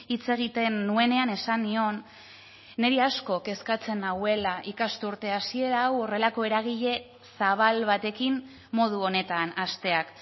hitz egiten nuenean esan nion niri asko kezkatzen nauela ikasturte hasiera hau horrelako eragile zabal batekin modu honetan hasteak